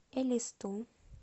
элисту